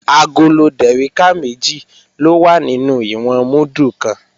Agolo dèríkà méjì ló wà nínú ìwọ̀n múdù kan